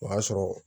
O y'a sɔrɔ